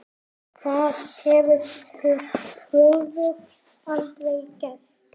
Það hefði Hrólfur aldrei gert.